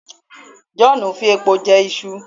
John fi epo je Isu